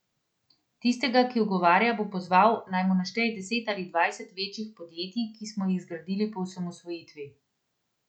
Tistega, ki ugovarja, bi pozval, naj mi našteje deset ali dvajset večjih podjetij, ki smo jih zgradili po osamosvojitvi.